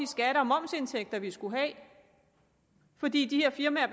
skatte og momsindtægter som vi skulle have fordi de her firmaer